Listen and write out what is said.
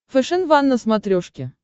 фэшен ван на смотрешке